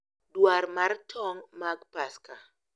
Dwar mar tong' mag Paska: